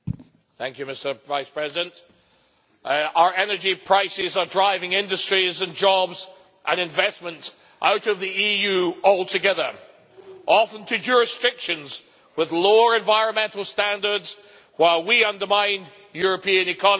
Mr President, our energy prices are driving industries, jobs and investments out of the EU altogether, often to jurisdictions with lower environmental standards, while we undermine European economies.